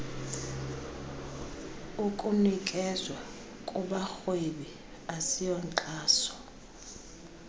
ukunikezwa kubarhwebi asiyonkxaso